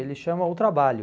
Ele chama O Trabalho.